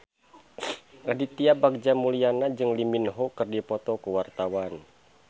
Aditya Bagja Mulyana jeung Lee Min Ho keur dipoto ku wartawan